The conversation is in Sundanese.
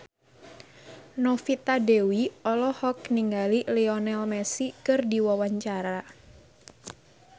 Novita Dewi olohok ningali Lionel Messi keur diwawancara